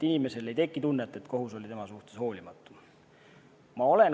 Inimesel ei tohiks tekkida tunnet, et kohus oli tema suhtes hoolimatu.